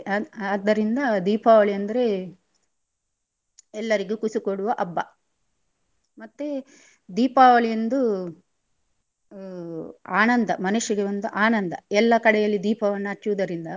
ಆದ್~ ಆದ್ದರಿಂದ ದೀಪಾವಳಿ ಅಂದ್ರೆ ಎಲ್ಲರಿಗು ಖುಷಿ ಕೊಡುವ ಹಬ್ಬ. ಮತ್ತೆ ದೀಪಾವಳಿಯಂದು ಆನಂದ ಮನುಷ್ಯರಿಗೆ ಒಂದು ಆನಂದ ಎಲ್ಲ ಕಡೆಯಲ್ಲಿ ದೀಪವನ್ನು ಹಚ್ಚುದರಿಂದ.